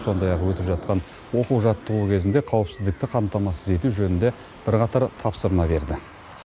сондай ақ өтіп жатқан оқу жаттығу кезінде қауіпсіздікті қамтамасыз ету жөнінде бірқатар тапсырма берді